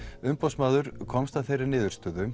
umboðsmaður komst að þeirri niðurstöðu